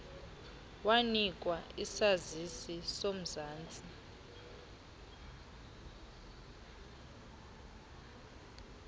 wanikwa isazisi somzantsi